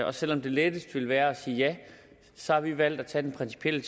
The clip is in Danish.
og selv om det letteste ville være at sige ja så har vi valgt at tage den principielle